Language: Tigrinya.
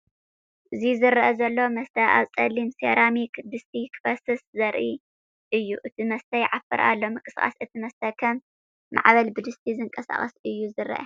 እዚ ዝረአ ዘሎ መስተ ኣብ ጸሊም ሴራሚክ ድስቲ ክፈስስ ዘርኢ እዩ። እቲ መስተ ይዓፍር ኣሎ። ምንቅስቓስ እቲ መስተ ከም ማዕበል ብድስቲ ዝንቀሳቐስ እዩ ዝረአ።